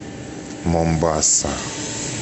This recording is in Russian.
момбаса